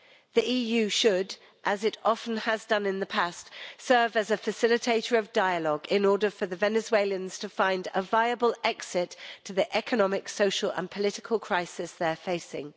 The EU should, as it often has done in the past, serve as a facilitator of dialogue in order for the Venezuelans to find a viable exit to the economic, social and political crisis they're facing.